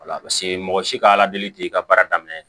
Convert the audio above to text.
Wala paseke mɔgɔ si ka ala deli tɛ i ka baara daminɛ